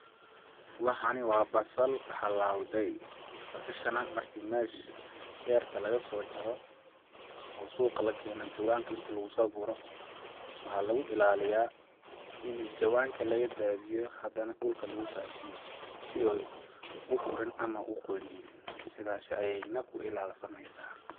Waxani waa basal halawde, basasha nah marki meesha berta lagasoo jaro oo suqa lakeeno jawanka inti lagusoo guro waxaa lagu ilaaliya ini jawanka laga dhaadiyo hada nah dhulka lagu faafiyo si ooy u urin ama u qoynin sidaas ayay nah ku ilaal sameysaa.